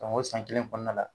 o san kelen kɔnɔna la